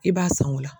I b'a san o la